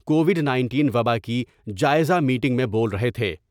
Covid nineteen و با کی جائزہ میٹنگ میں بول رہے تھے۔